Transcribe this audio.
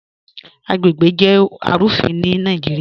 Agbègbè jẹ́ arúfìn ni Naijíríà.